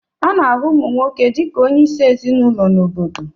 A na-ahụ ụmụ nwoke dị ka onye isi ezinụlọ na obodo